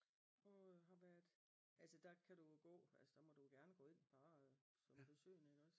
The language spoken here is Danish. Og har været altså der kan du jo gå altså der må du gerne gå ind bare som besøgende ikke også